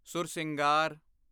Sursingar